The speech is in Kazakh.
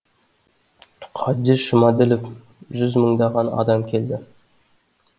қабдеш жұмаділов жүз мыңдаған адам келді